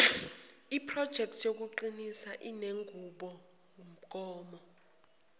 projekthi yokuqinisa inenqubomgomo